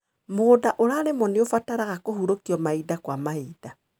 Mũgũnda ũrarĩmwo nĩ ũbataraga kũhurũkio mainda kwa mahinda.